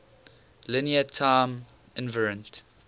linear time invariant